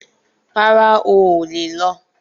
Rárá, o ò lè lọ